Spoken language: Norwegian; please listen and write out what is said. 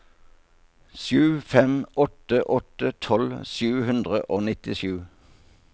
sju fem åtte åtte tolv sju hundre og nittisju